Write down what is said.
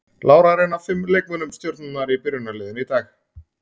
Lára er ein af fimm leikmönnum Stjörnunnar í byrjunarliðinu í dag.